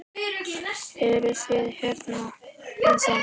Eruð þið hérna ennþá?